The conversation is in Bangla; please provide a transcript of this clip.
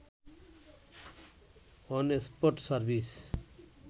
on spot service